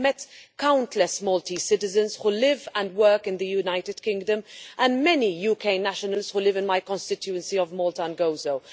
I have met countless Maltese citizens who live and work in the United Kingdom, and many UK nationals who live in my constituency of Malta and Gozo.